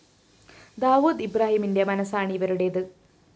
ദാവൂദ് ഇബ്രാഹിമിന്റെ മനസ്സാണ് ഇവരുടേത്